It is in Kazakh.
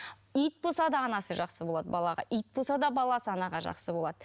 ит болса да анасы жақсы болады балаға ит болса да баласы анаға жақсы болады